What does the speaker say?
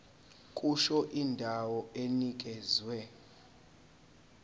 kusho indawo enikezwe